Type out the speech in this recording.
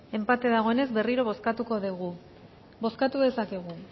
enpate dagoenez berriro bozkatuko degu bozkatu dezakegu